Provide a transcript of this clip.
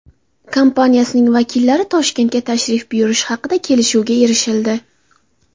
kompaniyasining vakillari Toshkentga tashrif buyurishi haqida kelishuvga erishildi.